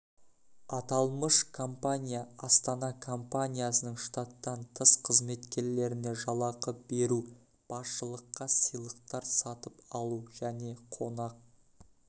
аталмыш компания астана компаниясының штаттан тыс қызметкерлеріне жалақы беру басшылыққа сыйлықтар сатып алу және қонақ